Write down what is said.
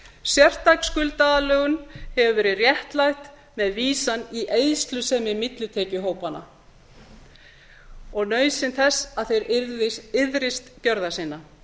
sértæk skuldaaðlögun hefur verið réttlætt með vísan í eyðslusemi millitekjuhópanna og nauðsyn þess að þeir iðrist gjörða sinna